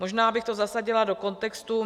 Možná bych to zasadila do kontextu.